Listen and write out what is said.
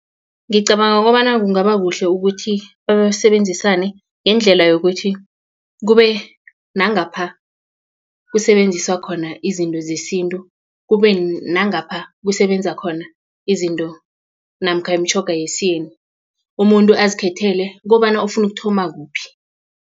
Ngicabanga kobana kungaba kuhle ukuthi basebenzisane ngendlela yokuthi kube nangapha kusetjenziswa khona izinto zesintu kube nangapha kusebenza khona izinto namkha imitjhoga yesiyeni umuntu azikhethele kobana ofuna ukuthoma kuphi.